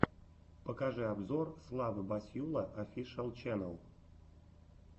покажи обзор славы басьюла офишиал ченнэл